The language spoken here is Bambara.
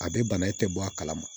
A bɛ bana in tɛ bɔ a kalama